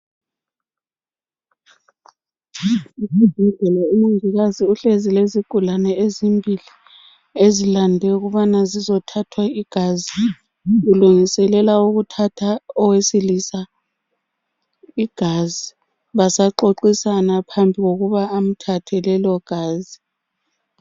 Esibhedlela umongikazi uhlezi lezigulane ezimbili ezilande ukubana zizothathwa igazi. Ulungiselela ukuthatha owesilisa igazi basaxoxisana phambi kokuba amthathe lelogazi.